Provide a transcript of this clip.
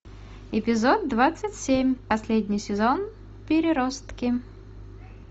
эпизод двадцать семь последний сезон переростки